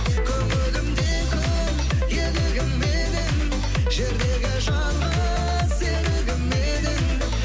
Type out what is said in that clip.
көңілімде күн елігім менің жердегі жалғыз серігім едің